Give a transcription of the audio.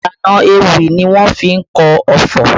Ìlànà ewì ni wọ́n fi kọ ọfọ̀